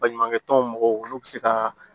Baɲumankɛ tɔn mɔgɔw olu bɛ se ka